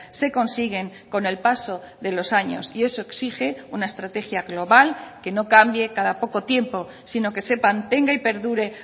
se consiguen con el paso de los años y eso exige una estrategia global que no cambie cada poco tiempo sino que se mantenga y perdure